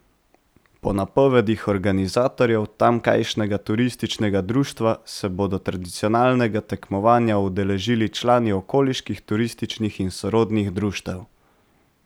Po napovedih organizatorjev, tamkajšnjega turističnega društva, se bodo tradicionalnega tekmovanja udeležili člani okoliških turističnih in sorodnih društev.